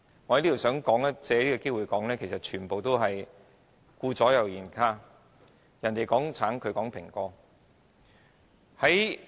我想藉此機會表明這完全是顧左右而言他，別人在說橙，他們卻在說蘋果。